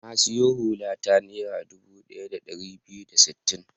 Na sayi hula ta Naira dubu ɗaya da ɗari biyu da sittin.